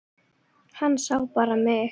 Hann sá bara mig!